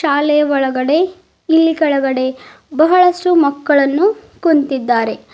ಶಾಲೆ ಒಳಗಡೆ ಇಲ್ಲಿ ಕೆಳಗಡೆ ಬಹಳಷ್ಟು ಮಕ್ಕಳನ್ನು ಕುಂತಿದ್ದಾರೆ.